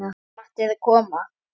Matti er að koma!